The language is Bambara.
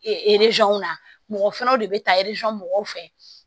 na mɔgɔ fɛnɛ de be taa mɔgɔw fɛ